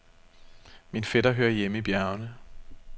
Min fætter hører hjemme i bjergene.